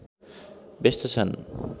व्यस्त छन्